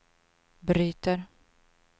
bryter